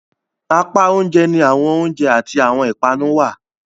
Apá oúnjẹ ni awọn oiunjẹ ati awọtn ipanu wà.